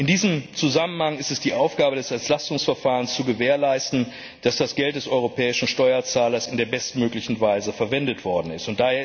In diesem Zusammenhang ist es die Aufgabe des Entlastungsverfahrens, zu gewährleisten, dass das Geld des europäischen Steuerzahlers in der bestmöglichen Weise verwendet worden ist.